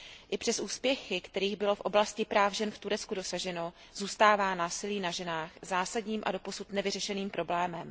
I přes úspěchy, kterých bylo v oblasti práv žen v Turecku dosaženo, zůstává násilí na ženách zásadním a doposud nevyřešeným problémem.